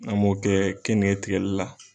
An mo kɛ keninke tigɛli la.